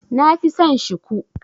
Nafi son Shiku.